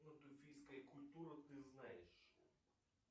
культуры ты знаешь